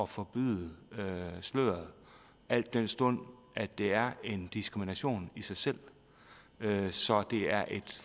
forbyde sløret al den stund det er en diskrimination i sig selv så det er et